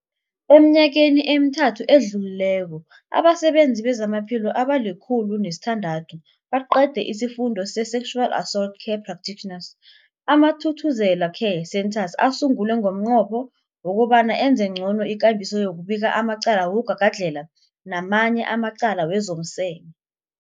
Eminyakeni emithathu edluleko, abasebenzi bezamaphilo abali-106 baqede isiFundo se-Sexual Assault Care Practitioners. AmaThuthuzela Care Centres asungulwa ngomnqopho wokobana enze ngcono ikambiso yokubika amacala wokugagadlhela namanye amacala wezomseme.